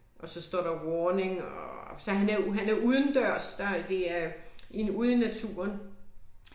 Og så står der warning og så han er han er udendørs der det er i ude i naturen